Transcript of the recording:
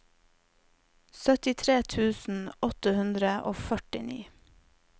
syttitre tusen åtte hundre og førtini